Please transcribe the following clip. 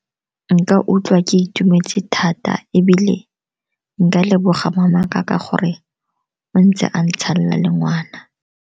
Nka utlwa ke itumetse thata, ebile nka leboga mamaka ka gore o ntse a ntshala le ngwana.